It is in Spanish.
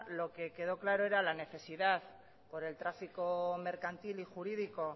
lo que queda claro es la necesidad por el tráfico mercantil y jurídico